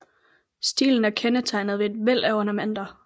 Stilen er kendetegnet ved et væld af ornamenter